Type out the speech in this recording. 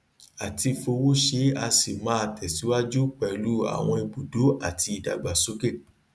a ti fowó ṣe a sì máa tẹsíwájú pẹlú àwọn ibùdó àti ìdàgbàsókè